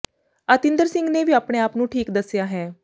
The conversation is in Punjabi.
ਅਤਿੰਦਰ ਸਿੰਘ ਨੇ ਵੀ ਆਪਣੇ ਆਪ ਨੂੰ ਠੀਕ ਦੱਸਿਆ ਹੈ